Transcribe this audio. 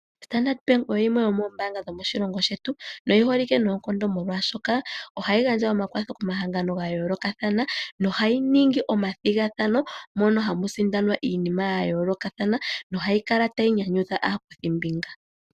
Standard Bank oyo yimwe yombaanga dhomoshilongo shetu noyi holike noonkondo molwaashoka ohayi gandja omakwatho komahangano ga yoolokathana nohayi ningi omathigathano mono hamusindanwa iinima ya yoolokathana nohayi kala tayi nyanyudha aakuthimbinga.